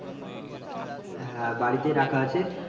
হ্যাঁ বাড়িতেই রাখা আছে।